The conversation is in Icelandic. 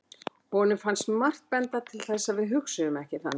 honum finnst margt benda til þess að við hugsum ekki þannig